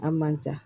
A man ca